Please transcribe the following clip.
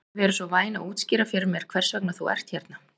Viltu vera svo væn að útskýra fyrir mér hvers vegna þú ert hérna?